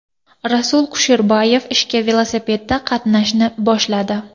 Rasul Kusherbayev ishga velosipedda qatnashni boshladi.